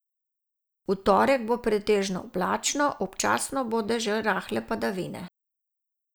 V torek bo pretežno oblačno, občasno bodo že rahle padavine.